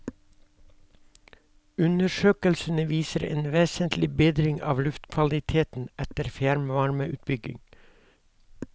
Undersøkelsene viser en vesentlig bedring av luftkvaliteten etter fjernvarmeutbygging.